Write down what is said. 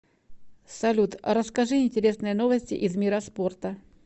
салют расскажи интересные новости из мира спорта